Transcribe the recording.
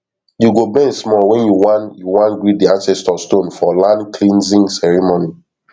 you go bend small when you wan you wan greet di ancestor stone for landcleansing ceremony